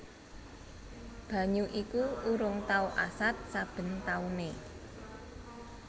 Banyu iku urung tau asat saben taune